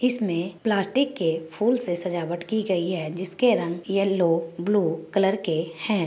इसमें प्लास्टिक के फुल से सजावट की गई है जिस के रंग यलो ब्लू कलर के हैं।